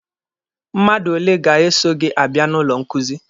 Mmadụ ole ga-eso gị abịa n'ụlọ nkuzi?